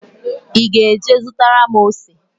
Ị ga-eje zụtara m ose?